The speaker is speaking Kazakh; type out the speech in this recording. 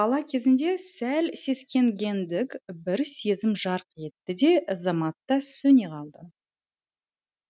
бала көзінде сәл сескенгендік бір сезім жарқ етті де заматта сөне қалды